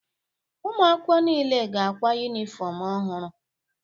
Ụmụ akwụkwọ niile ga-akwa yunifọmụ ọhụrụ.